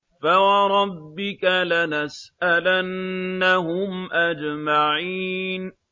فَوَرَبِّكَ لَنَسْأَلَنَّهُمْ أَجْمَعِينَ